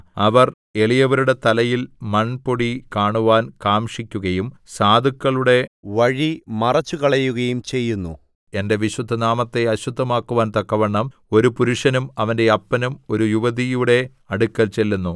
അവർ എളിയവരുടെ തലയിൽ മൺപൊടി കാണുവാൻ കാംക്ഷിക്കുകയും സാധുക്കളുടെ വഴി മറിച്ചുകളയുകയും ചെയ്യുന്നു എന്റെ വിശുദ്ധനാമത്തെ അശുദ്ധമാക്കുവാൻ തക്കവണ്ണം ഒരു പുരുഷനും അവന്റെ അപ്പനും ഒരു യുവതിയുടെ അടുക്കൽ ചെല്ലുന്നു